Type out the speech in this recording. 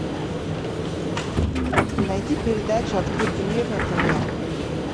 найди передача открытый мир на тв